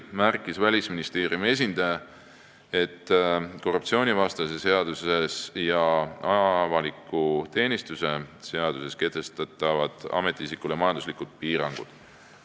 Välisministeeriumi esindaja märkis, et korruptsioonivastases seaduses ja avaliku teenistuse seaduses kehtestatakse ametiisikule majanduslikud piirangud.